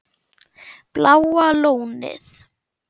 Bláa Lónið